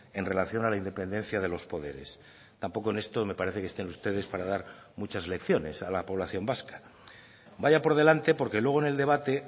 en relación a la independencia de los poderes tampoco en esto me parece que estén ustedes para dar muchas lecciones a la población vasca vaya por delante porque luego en el debate